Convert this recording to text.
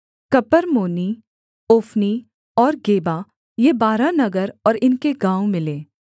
कपरम्मोनी Ophni और Geba ये बारह नगर और इनके गाँव मिले